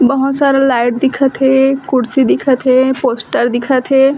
बहोत सारा लाइट दिखत हे कुर्सी दिखत हे पोस्टर दिखत हे।